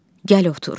Gəl otur.